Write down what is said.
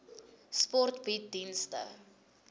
sport bied dienste